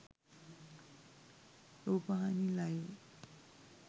rupavahini live